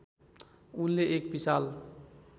उनले एक विशाल